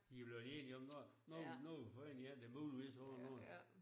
De er blevet enige om nåh nu nu har vi fundet en der muligvis laver noget